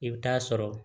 I bɛ taa sɔrɔ